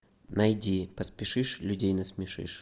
найди поспешишь людей насмешишь